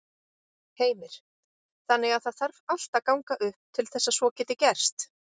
Heimir: Þannig að það þarf allt að ganga upp til þess að svo geti gerst?